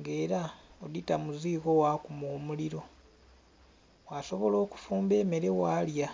nga era odhita mu ziiko gha kuma omuliro ghasobola okudumba emere ghalya.